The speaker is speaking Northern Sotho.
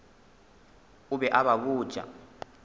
o be a ba botša